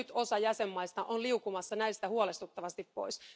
Nyt osa jäsenmaista on liukumassa näistä huolestuttavasti pois.